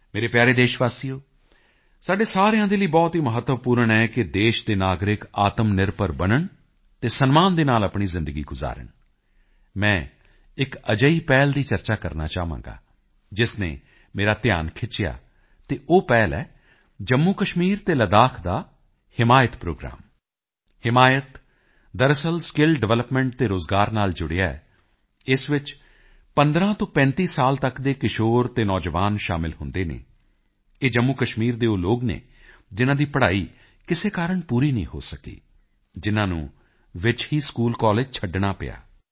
ਮੇਰੇ ਪਿਆਰੇ ਦੇਸ਼ਵਾਸੀਓ ਸਾਡੇ ਸਾਰਿਆਂ ਦੇ ਲਈ ਬਹੁਤ ਹੀ ਮਹੱਤਵਪੂਰਨ ਹੈ ਕਿ ਦੇਸ਼ ਦੇ ਨਾਗਰਿਕ ਆਤਮਨਿਰਭਰ ਬਣਨ ਅਤੇ ਸਨਮਾਨ ਦੇ ਨਾਲ ਆਪਣੀ ਜ਼ਿੰਦਗੀ ਗੁਜਾਰਨ ਮੈਂ ਇੱਕ ਅਜਿਹੀ ਪਹਿਲ ਦੀ ਚਰਚਾ ਕਰਨਾ ਚਾਹਾਂਗਾ ਜਿਸ ਨੇ ਮੇਰਾ ਧਿਆਨ ਖਿੱਚਿਆ ਅਤੇ ਉਹ ਪਹਿਲ ਹੈ ਜੰਮੂਕਸ਼ਮੀਰ ਅਤੇ ਲੱਦਾਖ ਦਾ ਹਿਮਾਇਤ ਪ੍ਰੋਗਰਾਮ ਹਿਮਾਇਤ ਦਰਅਸਲ ਸਕਿੱਲ ਡਿਵੈਲਪਮੈਂਟ ਅਤੇ ਰੋਜ਼ਗਾਰ ਨਾਲ ਜੁੜਿਆ ਹੈ ਇਸ ਵਿੱਚ 15 ਤੋਂ 35 ਸਾਲ ਤੱਕ ਦੇ ਕਿਸ਼ੋਰ ਅਤੇ ਨੌਜਵਾਨ ਸ਼ਾਮਿਲ ਹੁੰਦੇ ਹਨ ਇਹ ਜੰਮੂਕਸ਼ਮੀਰ ਦੇ ਉਹ ਲੋਕ ਹਨ ਜਿਨ੍ਹਾਂ ਦੀ ਪੜ੍ਹਾਈ ਕਿਸੇ ਕਾਰਣ ਪੂਰੀ ਨਹੀਂ ਹੋ ਸਕੀ ਜਿਨ੍ਹਾਂ ਨੂੰ ਵਿੱਚ ਹੀ ਸਕੂਲਕਾਲਜ ਛੱਡਣਾ ਪਿਆ